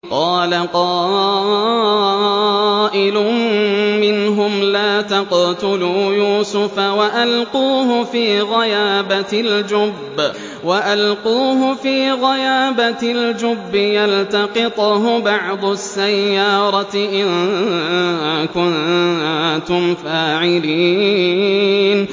قَالَ قَائِلٌ مِّنْهُمْ لَا تَقْتُلُوا يُوسُفَ وَأَلْقُوهُ فِي غَيَابَتِ الْجُبِّ يَلْتَقِطْهُ بَعْضُ السَّيَّارَةِ إِن كُنتُمْ فَاعِلِينَ